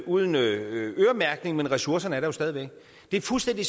uden øremærkning men ressourcerne er der jo stadig væk det er fuldstændig